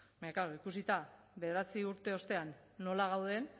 baina klaro ikusita bederatzi urte ostean nola gauden